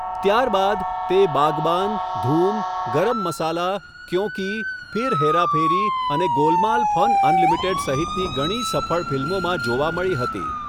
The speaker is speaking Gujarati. ત્યારબાદ, તે બાગબાન, ધૂમ, ગરમ મસાલા, ક્યોં કી, ફિર હેરા ફેરી અને ગોલમાલ ફન અનલિમિટેડ સહિતની ઘણી સફળ ફિલ્મોમાં જોવા મળી હતી.